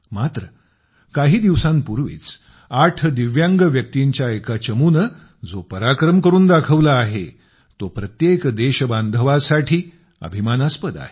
मात्र काही दिवसांपूर्वीच दिव्यांग व्यक्तींच्याएका चमूने जो पराक्रम करून दाखवला आहे तो प्रत्येक देशबांधवासाठी अभिमानास्पद आहे